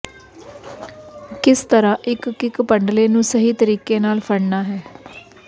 ਕਿਸ ਤਰ੍ਹਾਂ ਇਕ ਕਿੱਕ ਪੰਡਲੇ ਨੂੰ ਸਹੀ ਤਰੀਕੇ ਨਾਲ ਫੜਨਾ ਹੈ